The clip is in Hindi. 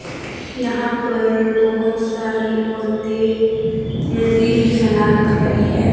यहां पर बहुत सारी औरतें नदी में स्नान कर रही है।